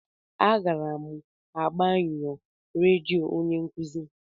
A gara'm agbe nyo redio onye nkuzi.